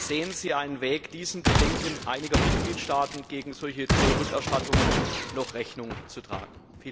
Sehen Sie einen Weg, diesen Bedenken einiger Mitgliedstaaten gegen solche Zollrückerstattungen noch Rechnung zu tragen?